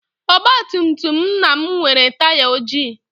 Ọgbatumtum nna m nwere taya ojii.